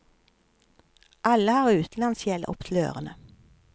Alle har utenlandsgjeld opp til ørene.